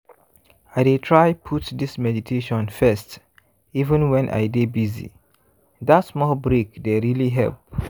i dey try put this meditation firsteven when i dey busy- that small break dey really help.